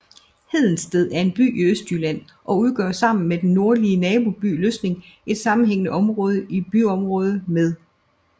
Hedensted er en by i Østjylland og udgør sammen med den nordlige naboby Løsning et sammenhængende byområde med